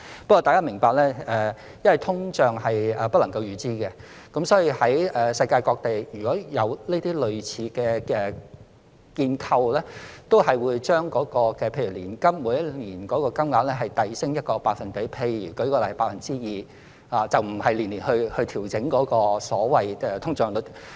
不過，大家要明白，因為通脹是不能夠預知的，所以世界各地有類似建構的地方都會把例如年金的每年金額遞升1個百分點，例如 2%， 而不是每年按通脹率調整。